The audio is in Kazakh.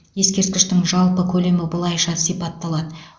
ескерткіштің жалпы көлемі былайша сипатталады